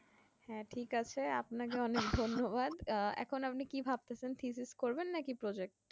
হ্যাঁ ঠিক আছে আপনাকে অনেক ধন্যবাদ এখন আপনি কি ভাবতেছেন physics করবেন না project